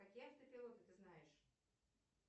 какие автопилоты ты знаешь